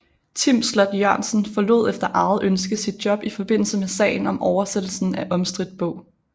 Tim Sloth Jørgensen forlod efter eget ønske sit job i forbindelse med sagen om oversættelsen af omstridt bog